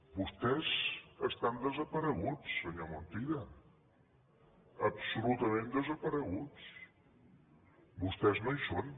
vostès estan desapareguts senyor montilla absolutament desapareguts vostès no hi són